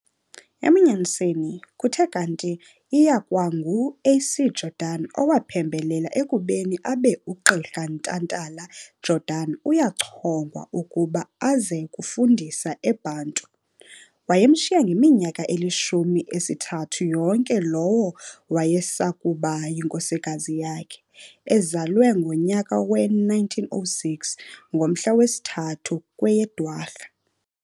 Ebunyaniseni, kuthe kanti iyakwa ngu A.C Jordan owaphembelela ekubeni abe uGqirha Ntantala-Jordan uyachongwa ukuba aze kufundisa e Bantu. Wayemshiya ngeminyaka elishumi esithathu yonke lowo wayesakuba yinkosikazi yakhe, ezalwe ngonyaka we 1906, ngomhla wesithathu kweyeDwarha.